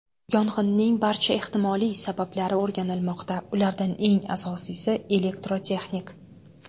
Yong‘inning barcha ehtimoliy sabablari o‘rganilmoqda, ulardan eng asosiysi elektrotexnik.